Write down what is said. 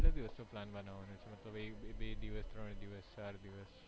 કેટલા દિવસ નો plan બનવાનો છે મતલબ એક દિવસ બે દિવસ ત્રણ દિવસ